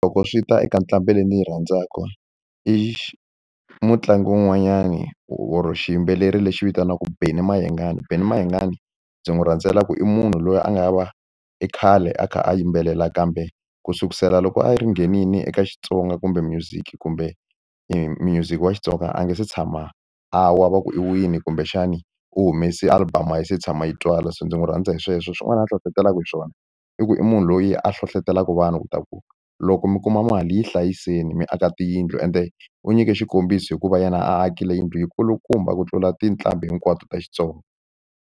Loko swi ta eka ntlambi leyi ndzi yi rhandzaka i mutlangi wun'wanyani or xiyimbeleri lexi vitaniwaka Benny Mayengani Benny Mayengani ndzi n'wi rhandzelaku i munhu loyi a nga i khale a kha a yimbelela kambe ku sukusela loko a yi ri nghenile eka Xitsonga kumbe music kumbe music wa Xitsonga a nga se tshama a wa va ku i wile kumbexani u humese album a yi se tshama yi twala se ndzi n'wi rhandza hi sweswo swin'wana a hlohlotelaka hi swona i ku i munhu loyi a hlohlotelaka vanhu ku ta ku loko mi kuma mali yi hlayiseni mi aka tiyindlu ende u nyike xikombiso hikuva yena akile yindlu yi kulukumba ku tlula tinqambi hinkwato ta Xitsonga.